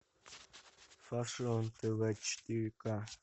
фашион тв четыре к